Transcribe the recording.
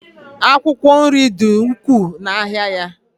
akwụkwọ nri dị ukwuu n'ahịa ya